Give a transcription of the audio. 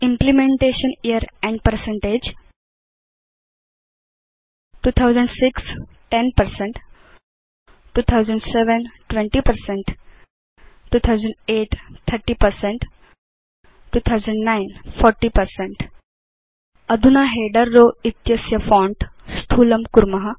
implementation year 2006 10 2007 20 2008 30 2009 40 अधुना header row इत्यस्य font स्थूलं कुर्म